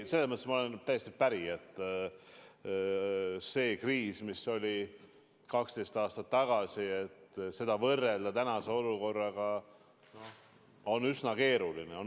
Sellega ma olen täiesti päri, et seda kriisi, mis oli 12 aastat tagasi, võrrelda tänase olukorraga on üsna keeruline.